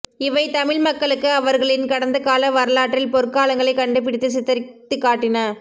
இவை தமிழ் மக்க்ளுக்கு அவர்களின் கடந்த கால வரலாற்றில் பொற்காலங்களை கண்டுபிடித்து சித்தரித்துக்காட்டின